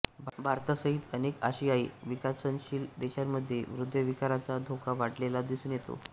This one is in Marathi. भारतासहित अनेक आशियाई विकासनशील देशांमध्ये हृदयविकाराचा धोका वाढलेला दिसून येतो